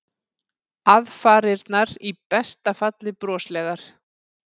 Aðfarirnar í besta falli broslegar.